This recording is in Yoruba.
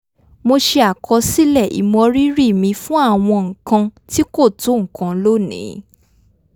mo ṣe àkọsílẹ̀ ìmọrírì mi fún àwọn nǹkan tí kò tó nǹkan lónìí